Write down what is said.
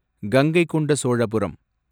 Gangaikonda Cholapuram